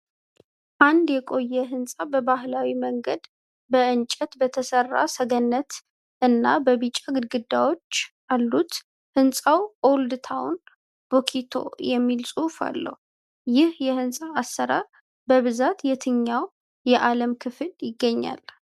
አንድ የቆየ ሕንፃ በባህላዊ መንገድ በእንጨት በተሰራ ሰገነት እና በቢጫ ግድግዳዎች አሉት። ሕንፃው Old Town Boutique የሚል ጽሑፍ አለው። ይህ የሕንፃ አሰራር በብዛት በየትኛው የዓለም ክፍል ይገኛል?